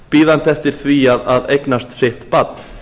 bíðandi eftir því að eignast sitt barn